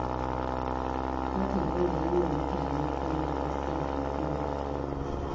Kar ka dinga yi wa mutane kallon ƙasƙanci ko da ka fi su.